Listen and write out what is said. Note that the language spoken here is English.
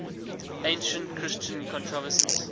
ancient christian controversies